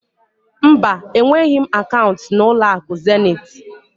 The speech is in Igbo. Mba, enweghị m akaụnt na ụlọakụ Zenit.